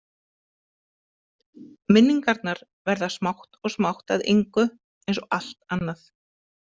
Minningarnar verða smátt og smátt að engu, eins og allt annað.